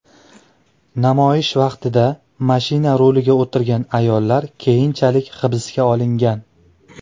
Namoyish vaqtida mashina ruliga o‘tirgan ayollar keyinchalik hibsga olingan.